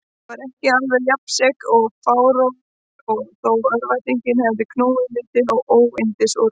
Var ég ekki alveg jafnsekur og fláráður þó örvæntingin hefði knúið mig til óyndisúrræða?